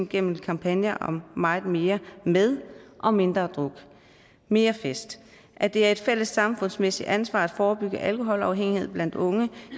gennem kampagner som meget mere med og mindre druk mere fest at det er et fælles samfundsmæssigt ansvar at forebygge alkoholafhængighed blandt unge